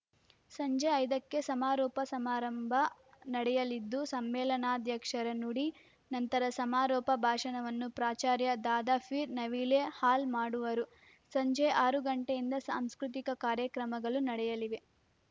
ಸಂಜೆ ಐದಕ್ಕೆ ಸಮಾರೋಪ ಸಮಾರಂಭ ನಡೆಯಲಿದ್ದು ಸಮ್ಮೇಳನಾಧ್ಯಕ್ಷರ ನುಡಿ ನಂತರ ಸಮಾರೋಪ ಭಾಷಣವನ್ನು ಪ್ರಾಚಾರ್ಯ ದಾದಾಪೀರ್‌ ನವೀಲೆ ಹಾಲ್‌ ಮಾಡುವರು ಸಂಜೆ ಆರು ಗಂಟೆಯಿಂದ ಸಾಂಸ್ಕೃತಿಕ ಕಾರ್ಯಕ್ರಮಗಲು ನಡೆಯಲಿವೆ